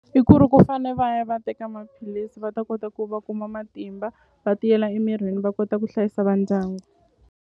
I ku ri ku fane va ya va teka maphilisi va ta kota ku va kuma matimba va tiyela emirini va kota ku hlayisa va ndyangu.